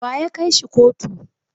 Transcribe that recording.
Wa ya kai shi kotu?